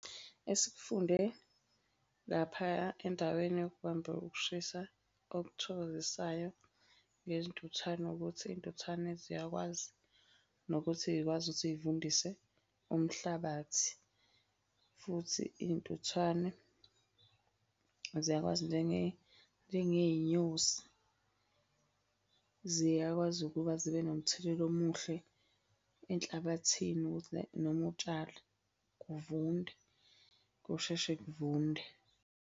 Esikufunde laphaya endaweni yokubamba ukushisa okuthokozisayo ngezintuthwane ukuthi iy'ntuthwane ziyakwazi nokuthi y'kwazi ukuthi y'vundise umhlabathi, futhi iy'ntuthwane ziyakwazi njengey'nyosi ziyakwazi ukuba zibe nomthelela omuhle enhlabathini ukuthi noma utshala kuvunde, kusheshe kuvunde.